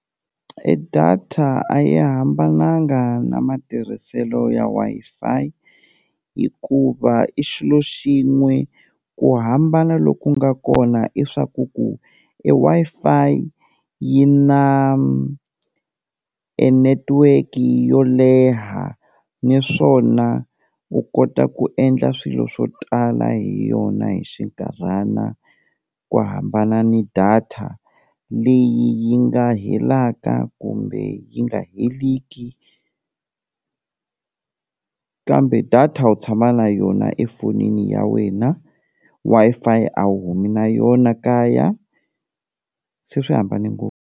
E data a yi hambananga na matirhiselo ya Wi-Fi hikuva i xilo xin'we, ku hambana loku nga kona i swa ku ku e Wi-Fi yi na e network yo leha naswona u kota ku endla swilo swo tala hi yona hi xinkarhana ku hambana ni data leyi yi nga helaka kumbe yi nga heliki, kambe data u tshama na yona efonini ya wena Wi-Fi a wu humi na yona kaya se swi hambane ngopfu.